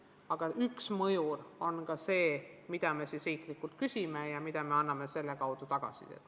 Aga üks mõjur on ka see, mida me riiklikult küsime ja mille kaudu me anname tagasisidet.